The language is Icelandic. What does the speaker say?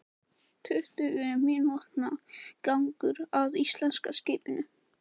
Tuttugu mínútna gangur að íslenska skipinu.